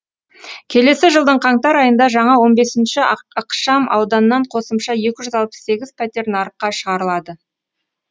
келесі жылдың қаңтар айында жаңа он бесінші ықшам ауданнан қосымша екі жүз алпыс сегіз пәтер нарыққа шығарылады